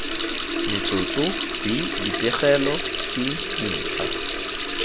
metsotso b dipegelo c dintlha